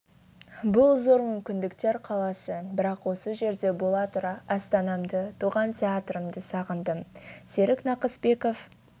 бұл зор мүмкіндіктер қаласы бірақ осы жерде бола тұра астанамды туған театрымды сағындым серік нақыспеков